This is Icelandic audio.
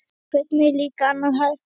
Hvernig er líka annað hægt?